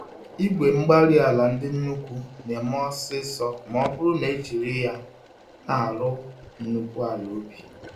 igwe-mgbárí-ala ndị nnukwu némè' ọsịsọ mọbụrụ nejiri yá n'arụ nnukwu ala ubi